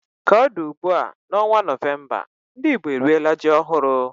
Ka ọ dị ugbu a, n'ọnwa Novemba, ndị Igbo eriela ji ọhụrụ